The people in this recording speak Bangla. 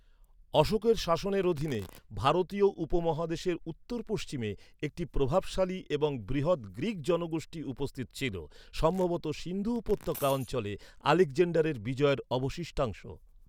অশোকের শাসনের অধীনে ভারতীয় উপমহাদেশের উত্তর পশ্চিমে একটি প্রভাবশালী এবং বৃহৎ গ্রীক জনগোষ্ঠী উপস্থিত ছিল, সম্ভবত সিন্ধু উপত্যকা অঞ্চলে আলেকজান্ডারের বিজয়ের অবশিষ্টাংশ।